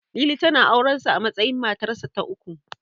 Lili, tana auren sa a matsayin matarsa ta uku.